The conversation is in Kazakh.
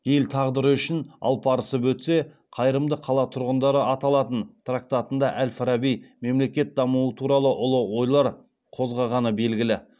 ел тағдыры үшін алпарысып өтсе қайырымды қала тұрғындары аталатын трактатында әл фараби мемлекет дамуы туралы ұлы ойлар қозғағаны белгілі